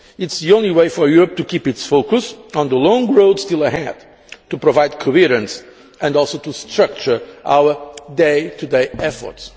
It is the only way for Europe to keep its focus on the long road still ahead, to provide coherence and also to structure our day to day efforts.